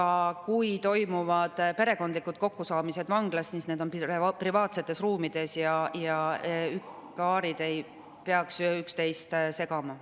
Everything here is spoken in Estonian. Aga kui toimuvad perekondlikud kokkusaamised vanglas, siis need on privaatsetes ruumides ja paarid ei peaks üksteist segama.